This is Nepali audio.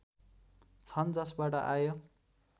छन् जसबाट आय